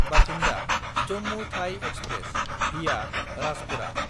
बाथिन्दा–जम्मु थाइ एक्सप्रेस (भिया राजपुरा)